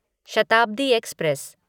Shatabdi express